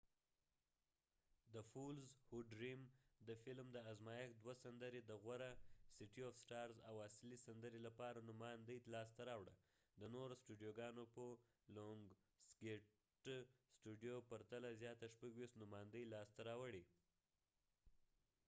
د فیلم د ازمایښت دوه سندرې the fools who dream او city of stars د غوره اصلي سندرې لپاره نوماندۍ لاسته راوړه. د lionsgate studio د نورو ستودیوګانو په پرتله زیاتې 26 نوماندۍ لاسته راوړې